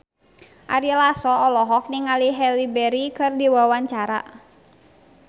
Ari Lasso olohok ningali Halle Berry keur diwawancara